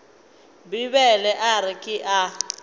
bibele a re ke a